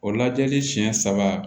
O lajɛli siɲɛ saba